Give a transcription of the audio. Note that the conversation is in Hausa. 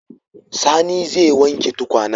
Sani zai wanke tukwanen.